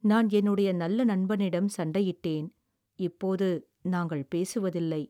நான் என்னுடைய நல்ல நண்பனிடம் சண்டையிட்டேன், இப்போது நாங்கள் பேசுவதில்லை.